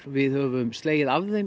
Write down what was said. við höfum slegið af þeim